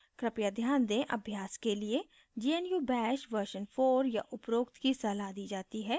कृपया ध्यान दें अभ्यास के लिए gnu bash version 4 या उपरोक्त की सलाह दी जाती है